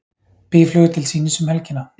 Býflugur til sýnis um helgina